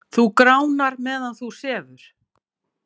Þú gránar meðan þú sefur.